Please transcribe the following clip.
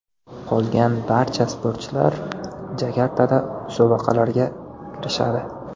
Qolgan barcha sportchilar Jakartada musobaqalarga kirishadi.